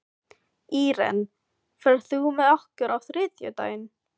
Íren, ferð þú með okkur á þriðjudaginn?